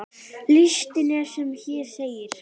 Listinn er sem hér segir